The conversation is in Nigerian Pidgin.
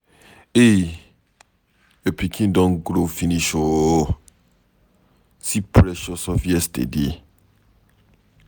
Ehee! Your pikin don grow finish ooo. See Precious of yesterday.